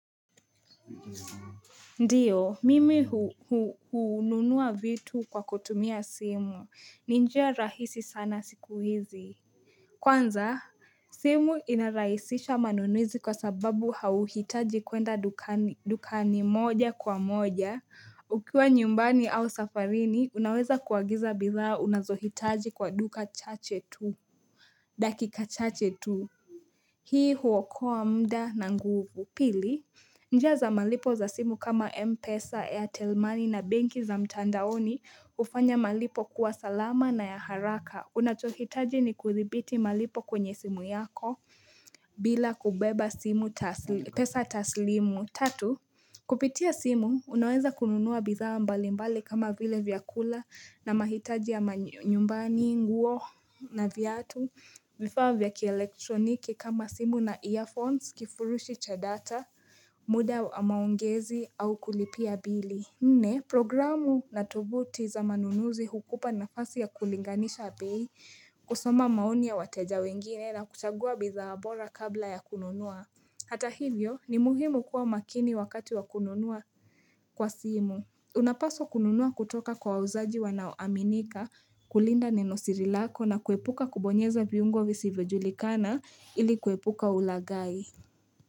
Ndio, mimi hununua vitu kwa kutumia simu. Ni njia rahisi sana siku hizi. Kwanza, simu inarahisisha manunwizi kwa sababu hauhitaji kwenda dukani moja kwa moja. Ukiwa nyumbani au safarini, unaweza kuagiza bidhaa unazohitaji kwa duka chache tu. Dakika chache tu. Hii huokoa mda na nguvu. Pili, njia za malipo za simu kama M pesa airtel money na benki za mtandaoni ufanya malipo kuwa salama na ya haraka. Unachohitaji ni kuthibiti malipo kwenye simu yako bila kubeba simu pesa taslimu. Tatu, kupitia simu, unawenza kununua bidhaa mbali mbali kama vile vyakula na mahitaji ya manyumbani, nguo na viatu. Vifaa vya kielektroniki kama simu na earphones, kifurushi cha data, muda amaongezi au kulipia bili. Nne, programu na tovuti za manunuzi hukupa na fasi ya kulinganisha bei, kusoma maoni ya wateja wengine na kuchagua bidhaa bora kabla ya kununua. Hata hivyo, ni muhimu kuwa makini wakati wa kununua kwa simu. Unapaswa kununua kutoka kwa wauzaji wanaoaminika kulinda nenosiri lako na kuepuka kubonyeza viungo visivyojulikana ili kuepuka ulagai.